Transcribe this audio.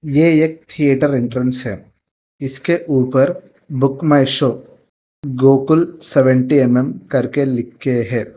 ये एक theatre entrance है इसके ऊपर Book My Show Gokul seventy M M करके लिख के हैं।